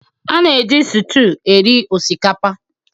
A na-eji sụtụ eri osikapa